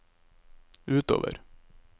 utover